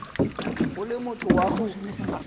o le motho wa go